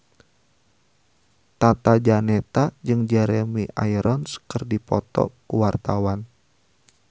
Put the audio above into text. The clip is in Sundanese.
Tata Janeta jeung Jeremy Irons keur dipoto ku wartawan